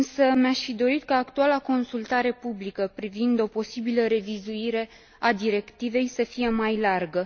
Mi aș fi dorit însă ca actuala consultare publică privind o posibilă revizuire a directivei să fie mai largă.